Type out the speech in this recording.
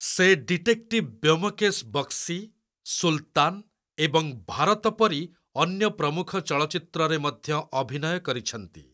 ସେ 'ଡିଟେକ୍ଟିଭ୍ ବ୍ୟୋମକେଶ୍ ବକ୍ସି', 'ସୁଲ୍‍ତାନ୍‍‍' ଏବଂ 'ଭାରତ' ପରି ଅନ୍ୟ ପ୍ରମୁଖ ଚଳଚ୍ଚିତ୍ରରେ ମଧ୍ୟ ଅଭିନୟ କରିଛନ୍ତି।